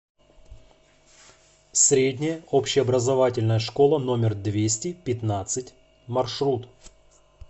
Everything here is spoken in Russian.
средняя общеобразовательная школа номер двести пятнадцать маршрут